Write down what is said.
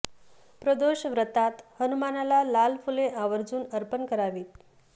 प्रदोष व्रतात हनुमानाला लाल फुले आवर्जुन अर्पण करावीत